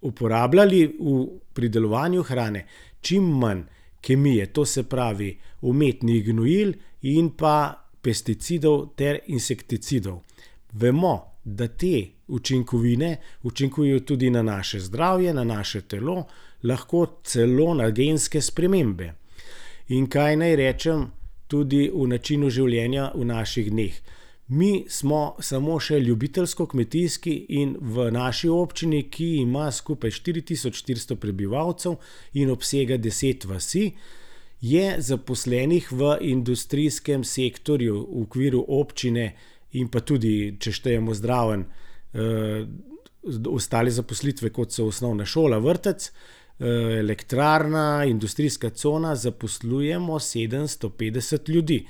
uporabljali v pridelovanju hrane čim manj kemije, to se pravi umetnih gnojil in pa pesticidov ter insekticidov. Vemo, da te učinkovine, učinkujejo tudi na naše zdravje, na naše telo, lahko celo na genske spremembe. In kaj naj rečem? Tudi v načinu življenja v naših dneh. Mi smo samo še ljubiteljsko kmetijski in v naši občini, ki ima skupaj štiri tisoč štiristo prebivalcev in obsega deset vasi, je zaposlenih v industrijskem sektorju v okviru občine in pa tudi, če štejemo zraven, ostale zaposlitve, kot so osnovna šola, vrtec, elektrarna, industrijska cona, zaposlujemo sedemsto petdeset ljudi.